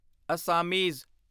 Assamese